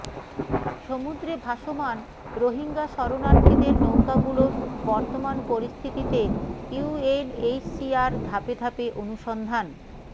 সমুদ্রে ভাসমান রোহিঙ্গা শরণার্থীদের নৌকাগুলোর বর্তমান পরিস্থিতিতে ইউএনএইচসিআর ধাপে ধাপে অনুসন্ধান